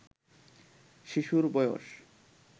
শিশুর বয়স